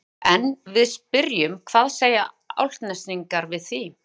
En við spyrjum hvað segja Álftnesingar við því?